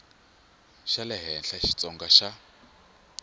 xa le henhla xitsonga xa